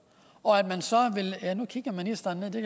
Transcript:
nu kigger ministeren ned det